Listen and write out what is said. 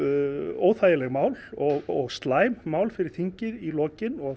óþægileg mál og slæm mál fyrir þingið í lokin og